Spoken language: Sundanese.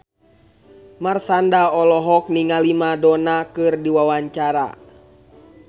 Marshanda olohok ningali Madonna keur diwawancara